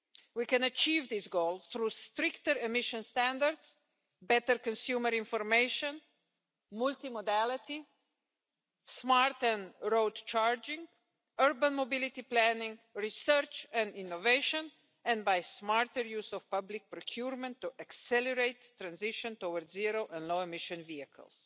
We can achieve this goal through stricter emissions standards, better consumer information, multimodality, smarter road charging, urban mobility planning, research and innovation, and by smarter use of public procurement to accelerate the transition towards zero— and low emission vehicles.